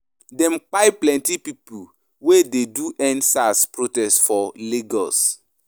Dem kpai plenty pipu wey dey do End Sars protest for Lagos.